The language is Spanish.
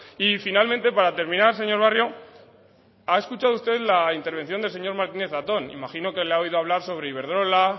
y finalmente para terminar señor barrio ha escuchado usted la intervención del señor martínez zatón imagino que le ha oído hablar sobre iberdrola